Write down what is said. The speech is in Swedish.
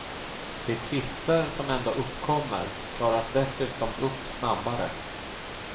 De tvister som ändå uppkommer klaras dessutom upp snabbare.